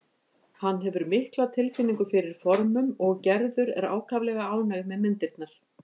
Hann hefur mikla tilfinningu fyrir formum og Gerður er ákaflega ánægð með myndirnar.